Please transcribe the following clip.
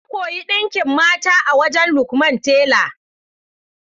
Na koyi ɗinka kayan mata a wajen Lukman tela.